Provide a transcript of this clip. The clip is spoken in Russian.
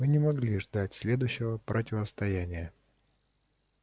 мы не могли ждать следующего противостояния